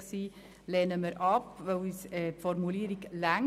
Unseres Erachtens reicht die vorliegende Formulierung aus.